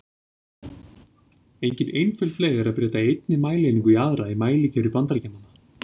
Engin einföld leið er að breyta einni mælieiningu í aðra í mælikerfi Bandaríkjamanna.